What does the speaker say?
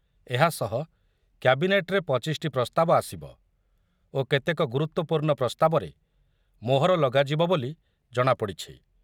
ଏହା ସହ କ୍ୟାବିନେଟ୍‌ରେ ପଚିଶଟି ପ୍ରସ୍ତାବ ଆସିବ ଓ କେତେକ ଗୁରୁତ୍ୱପୂର୍ଣ୍ଣ ପ୍ରସ୍ତାବରେ ମୋହର ଲଗାଯିବ ବୋଲି ଜଣାପଡି଼ଛି।